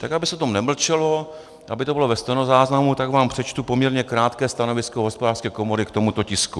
Tak aby se o tom nemlčelo, aby to bylo ve stenozáznamu, tak vám přečtu poměrně krátké stanovisko Hospodářské komory k tomuto tisku: